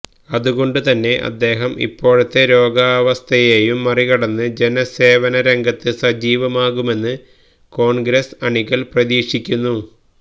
അതുകൊണ്ട് തന്നെ അദ്ദേഹം ഇപ്പോഴത്തെ രോഗാവസ്ഥയെയും മറികടന്ന് ജനസേവന രംഗത്ത് സജീവമാകുമെന്ന് കോൺഗ്രസ് അണികൾ പ്രതീക്ഷിക്കുന്നു